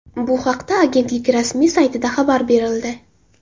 Bu haqda agentlik rasmiy saytida xabar berildi .